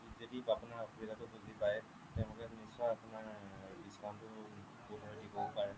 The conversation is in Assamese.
যদি আপোনাৰ অসুবিধাটো বুজি পায় নিশ্চয় আপোনাৰ discountটো বোধ হ'য় দিবও পাৰে